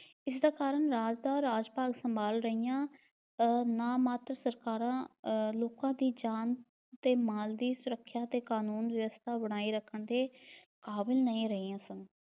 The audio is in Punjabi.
ਇਸ ਦਾ ਕਾਰਣ ਰਾਜ ਦਾ ਰਾਜਪਾਲ ਸੰਭਾਲ ਰਹੀਆਂ ਅਹ ਨਾ-ਮਾਤਰ ਸਰਕਾਰਾਂ ਅਹ ਲੋਕਾਂ ਦੀ ਜਾਨ ਤੇ ਮਾਲ ਦੀ ਸੁਰੱਖਿਆ ਤੇ ਕਾਨੂੰਨ ਵਿਵਸਥਾ ਬਣਾਈ ਦੇ ਕਾਬਿਲ ਨਹੀਂ ਰਹੀਆਂ ਸਨ।